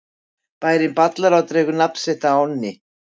Bærinn Ballará dregur nafn sitt af ánni.